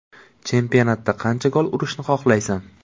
Chempionatda qancha gol urishni xohlaysan?